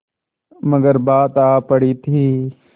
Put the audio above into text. मगर बात आ पड़ी थी